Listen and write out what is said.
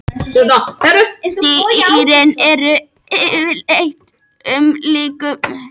Dýrin eru yfirleitt umlukin með kalkkenndri skel sem þau seyta úr líkamsvef sem kallast möttull.